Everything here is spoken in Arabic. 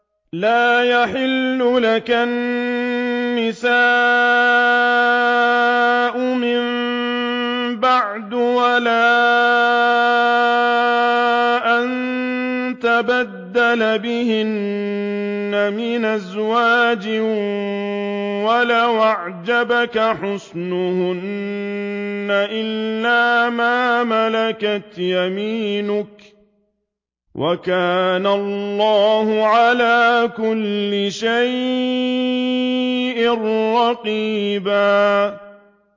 لَّا يَحِلُّ لَكَ النِّسَاءُ مِن بَعْدُ وَلَا أَن تَبَدَّلَ بِهِنَّ مِنْ أَزْوَاجٍ وَلَوْ أَعْجَبَكَ حُسْنُهُنَّ إِلَّا مَا مَلَكَتْ يَمِينُكَ ۗ وَكَانَ اللَّهُ عَلَىٰ كُلِّ شَيْءٍ رَّقِيبًا